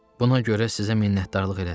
Buna görə sizə minnətdarlıq elədim.